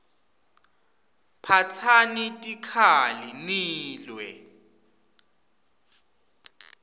phatsani tikhali nilwe